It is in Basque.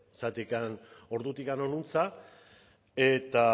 zergatik ordutik honantz eta